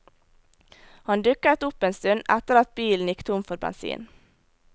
Han dukket opp en stund etter at bilen gikk tom for bensin.